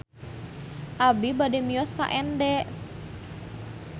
Abi bade mios ka Ende